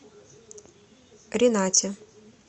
ринате